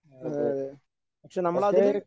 അതേയതേ പക്ഷേ നമ്മളതില്